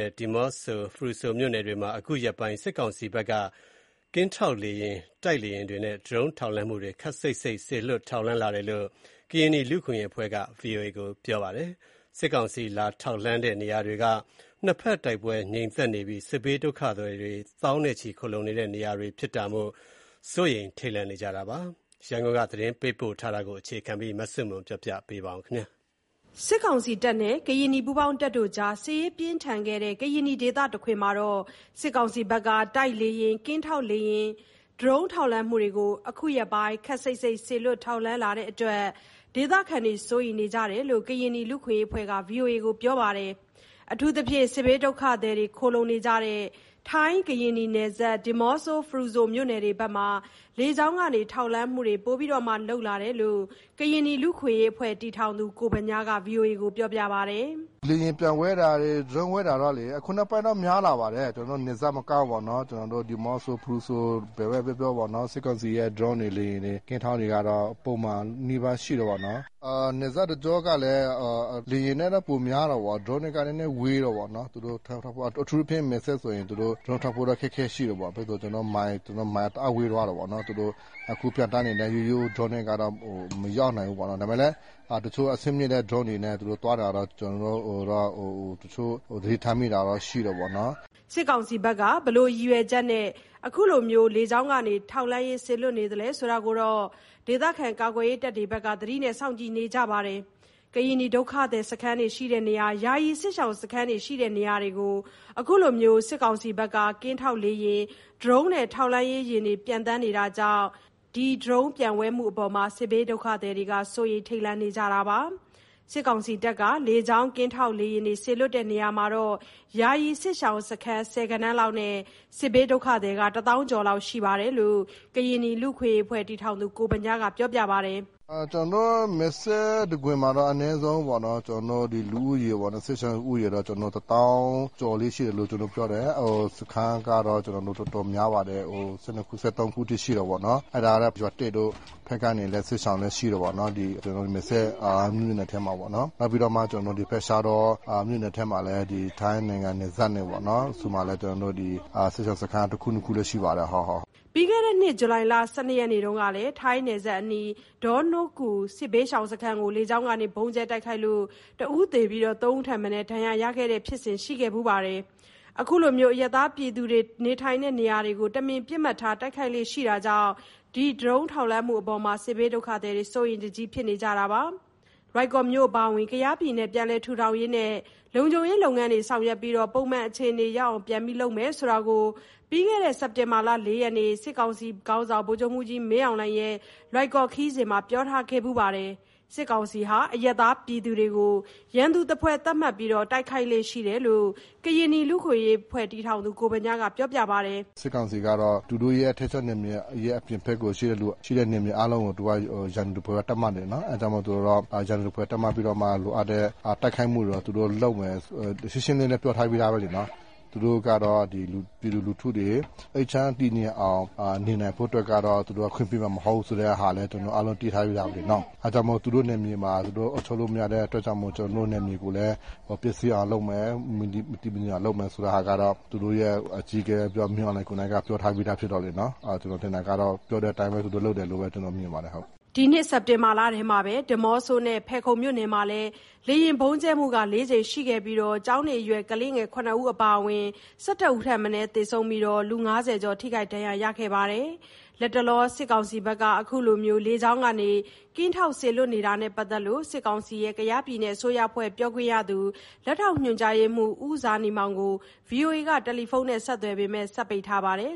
ဲ့ ဒီးမော့ဆို၊ ဖရူဆိုမြို့နယ်တွေမှာ အခုရက်ပိုင်း စစ်ကောင်စီဘက်က ကင်းထောက်လေယာဉ် တိုက်လေယာဉ်တွေနဲ့ ဒရုန်းထောက်လှမ်းမှုတွေ ခပ်စိပ်စိပ် စေလွှတ်ထောက်လှမ်းလာတယ်လို့ ကရင်နီလူ့အခွင့်အရေးအဖွဲ့က ဗွီအိုအေကို ပြောပါတယ်။ စစ်ကောင်စီ လာထောက်လှမ်းနေတဲ့ နေရာတွေက နှစ်ဖက်တိုက်ပွဲငြိမ်သက်နေပြီး စစ်ဘေးဒုက္ခသည် သောင်းနဲ့ချီ ခိုလှုံနေကြတဲ့ နေရာတွေဖြစ်လို့ စိုးရိမ်ထိတ်လန့်နေကြပါတယ်။ ရန်ကုန်က သတင်းပေးပို့ထားပါတယ်။ စစ်ကောင်စီတပ်နဲ့ ကရင်နီပူးပေါင်းတပ်တို့ကြား စစ်ရေးပြင်းထန်ခဲ့တဲ့ ကရင်နီဒေသတခွင်မှာ စစ်ကောင်စီဘက်က တိုက်လေယာဉ်၊ ကင်းထောက်လေယာဉ်နဲ့ ဒရုန်းထောက်လှမ်းမှုတွေ အခုရက်ပိုင်း ခပ်စိပ်စိပ် စေလွှတ်ထောက်လှမ်းလာတဲ့အတွက် ဒေသခံတွေ စိုးရိမ်နေကြတယ်လို့ ကရင်နီလူ့အခွင့်အရေးအဖွဲ့က ဗွီအိုအေကို ပြောပါတယ်။ အထူးသဖြင့် စစ်ဘေးဒုက္ခသည်ခိုလှုံနေကြတဲ့ ထိုင်း-ကရင်နီနယ်စပ်နဲ့ ဒီးမော့ဆို၊ ဖရူဆိုမြို့နယ်တွေမှာ လေကြောင်းကနေ ထောက်လှမ်းမှုတွေ ပိုလုပ်လာတယ်လို့ ကရင်နီလူ့အခွင့်အရေးအဖွဲ့ တည်ထောင်သူ ကိုဗညားက ခုလို ပြောပါတယ်။ “လေယာဉ်ပျံဝဲတာတွေ ဒရုန်းဝဲတာတော့လေ အခုနောက်ပိုင်းတော့ များလာပါတယ်။ ကျနော်တို့ နယ်စပ်မကဘူးပေါ့နော်၊ ကျနော်တို့ ဒီးမော့ဆို၊ ဖရုဆို၊ ဘယ်ဘက်ပြောပြောပေါ့နော်၊ စစ်ကောင်စီရဲ့ ဒရုန်းတွေ လေယာဉ်တွေ ကင်းထောက်တွေကတော့ ပုံမှန်နီးပါးရှိတယ်ပေါ့နော်။ နယ်စပ်တကျောကလည်း လေယာဉ်နဲ့တော့ ပိုများတယ်ပေါ့နော် ဒရုန်းနဲ့က နည်းနည်းဝေးတယ်ပေါ့နော် သူတို့ကင်းထောက်ဖို့က၊ အထူးသဖြင့် မယ်စဲ့ဆိုရင် သူတို့ကင်းထောက်ဖို့ အခက်အခဲရှိတယ်ပေါ့၊ ဘာဖြစ်ဆို မိုင်တအားဝေးသွားတယ် သူတို့အခုပျံသန်းနေတဲ့ ရိုးရိုးဒရုန်းနဲ့က မရောက်နိုင်ဘူးပေါ့နော်။ ဒါပေမယ့်လည်း တချို့အဆင့်တဲ့ ဒရုန်းတွေနဲ့ သူတို့သွားတာတော့ တချို့သတိထားမိတာရှိတယ်ပေ့ါနော်။” စစ်ကောင်စီဘက်က ဘာရည်ရွယ်နဲ့ အခုလို လေကြောင်းကနေ ထောက်လှမ်းရေး စေလွှတ်နေသလဲဆိုတာကတော့ ဒေသခံကာကွယ်ရေးတပ်တွေဘက်က သတိနဲ့စောင့်ကြည့်နေကြပါတယ်။ ကရင်နီဒုက္ခသည်တွေ ယာယီစစ်ရှောင်စခန်းရှိရာနေရာတွေကို အခုလို ကင်းထောက်လေယာဉ်နဲ့ ဒရုန်းထောက်လှမ်းရေးတွေ ပျံသန်းနေတာကြောင့် အခုလို ဒရုန်းပျံဝဲမှုတွေအပေါ် စစ်ဘေးဒုက္ခသည်တွေ စိုးရိမ်ထိတ်လန့်နေကြရပါတယ်။ အခု စစ်ကောင်စီတပ်က လေကြောင်းကင်းထောင့် စေလွှတ်တဲ့ နေရာတွေမှာ ယာယီစစ်ရှောင်စခန်း ဆယ်ဂဏန်းလောက်နဲ့ စစ်ဘေးဒုက္ခသည် တစ်သောင်းကျော် ရှိတယ်လို့ ကရင်နီလူ့အခွင့်အရေးအဖွဲ့ တည်ထောင်သူ ကိုဗညားက ပြောပါတယ်။ “ကျနော်တို့ မယ်စဲ့တခွင်မှာတော့ အနည်းဆုံးပေါ့နော် ကျနော်တို့ လူဦးရေပေါ့ စစ်ရှောင်ဦးရေတော့ ကျနော်တို့ တစ်သောင်းကျော်လေးရှိသလို စခန်းကတော့ တော်တော်များပါတယ်၊ ၁၂ ခု ၁၃ ခုထိ ရှိတယ်ပေါ့နော်။ အဲ့ဒါ ရွာသစ်တို့ဖက်ကနေ စစ်ရှောင်လည်း ရှိတယ်ပေါ့နော် ကျနော်တို့ မယ်စဲ့ မြို့နယ်ထဲမှာပေါ့နော်၊ နောက်ပြီးဒီဖက် ရှားတော့မြို့နယ်ထဲမှာလည်း ထိုင်းနိုင်ငံနယ်စပ်နဲ့ပေါ့နော် စစ်ရှောင်စခန်း ၁ခု ၂ခုရှိပါတယ်ဟုတ်။” ပြီးခဲ့တဲ့နှစ် ဇူလိုင်လ ၁၂ နေ့တုန်းက ထိုင်းနယ်စပ်အနီး ဒေါနိုးကူစစ်ဘေးရှောင်စခန်းကို လေကြောင်းကနေ ဗုံးကြဲတိုက်ခိုက်လို့ ၁ဦးသေ၊ ၃ဦးထက်မနည်း ဒဏ်ရာရရှိတဲ့ ဖြစ်စဉ်ရှိခဲ့ဖူးပါတယ်။ ဒီလို အရပ်သားပြည်သူတွေ နေထိုင်တဲ့နေရာတွေကို တမင်ပစ်မှတ်ထား တိုက်ခိုက်လေ့ရှိတာကြောင့် စစ်ဘေးဒုက္ခသည်တွေ စိုးရိမ်တကြီးဖြစ်နေရတာပါ။ လွိုင်ကော်မြို့အပါအဝင် ကယားပြည်နယ်ကို ပြန်လည်ထူးထောင်ရေးနဲ့ လုံခြုံရေးလုပ်ငန်းတွေ ဆောင်ရွက်ပြီး ပုံမှန်အခြေအနေ ရောက်အောင် လုပ်မယ်လို့ ပြီးခဲ့တဲ့စက်တင်ဘာလ ၄ရက်နေ့တုန်းက စစ်ကောင်စီခေါင်းဆောင် ဗိုလ်ချုပ်မှူးကြီး မင်းအောင်လှိုင် လွိုင်ကော်ခရီးမှာ ပြောထားပါတယ်။ စစ်ကောင်စီတပ်ဟာ အရပ်သားပြည်သူတွေကို ရန်သူသဖွယ်သတ်မှတ်ပြီး တိုက်ခိုက်လေ့ရှိတယ်လို့ ကရင်နီလူ့အခွင့်အရေးအဖွဲ့ တည်ထောင်သူ ကိုဗညားက ပြောပါတယ်။ “စစ်ကောင်စီကတော့ သူတို့ရဲ့ ထိန်းချုပ်နယ်မြေရဲ့ အပြင်ဘက်ကို ရှိတဲ့နယ်မြေအားလုံးကို သူက ရန်သူသဖွယ်ပဲ သတ်မှတ်နေတယ်နော်။ အဲ့ကြောင့်မို့လို့ ရန်သူသဖွယ်သတ်မှတ်ပြီးတော့ လိုအပ်တဲ့ တိုက်ခိုက်မှုတွေတော့ သူတို့လုပ်မယ်၊ ရှင်းရှင်းလင်းလင်းပြောထားပြီးသားပဲလေနော် သူတို့ကတော့ ပြည်သူလူထုတွေ အေးချမ်းတည်ငြိမ်အောင် နေနိုင်ဖို့အတွက်ကတော့ သူတို့ ခွင့်ပြုမှာမဟုတ်ဆိုတဲ့ဟာလည်း ကျနော်တို့ အားလုံးသိထားပြီးသားပဲလေနော်၊ အဲ့ကြောင့်မို့သူတို့ နယ်မြေမှာ သူတို့အုပ်ချုပ်လို့မရတဲ့အတွက်ကြောင့်မို့ ကျနော်တို့ နယ်မြေကိုလည်း ပျက်စီးအောင်လုပ်မယ် မတည်မငြိမ်အောင်လုပ်မယ်ဆိုတဲ့ဟာကတော့ သူတို့ရဲ့ အကြီးအကဲမင်းအောင်လှိုင်ကိုက ပြောထားပြီးသားဖြစ်တော့လေနော် ကျနော်ထင်တာကတော့ ပြောတဲ့အတိုင်းပဲသူတို့လုပ်တယ်လို့ပဲ ကျနော်မြင်ပါတယ်ဟုတ်။” စက်တင်ဘာလထဲမှာ ဒီးမော့ဆိုမြို့နယ်နဲ့ ဖယ်ခုံမြို့နယ် လေယာဉ်ဗုံးကြဲမှု ၄ကြိမ်ရှိခဲ့ပြီး ကျောင်းနေအရွယ်ကလေးငယ် ၇ဦးအပါအဝင် ၁၁ ဦး ထက်မနည်း သေဆုံး၊ ၅၀ ကျော်ထိခိုက်ဒဏ်ရာရရှိခဲ့ပါတယ်။ လတ်တလော စစ်ကောင်စီဘက်က အခုလို လေကြောင်းလမ်းကနေ ကင်းထောက်စေလွှတ်တာနဲ့ ပတ်သက်လို့ စစ်ကောင်စီရဲ့ ကယားပြည်နယ်အစိုးရအဖွဲ့ ပြောရေးဆိုခွင့်ရှိသူ လက်ထောက်ညွှန်ကြားရေးမှူး ဦးဇာနည်မောင်ကို VOA က တယ်လီဖုန်းနဲ့ ဆက်သွယ်ခဲ့ပေမယ့် စက်ပိတ်ထားပါတယ်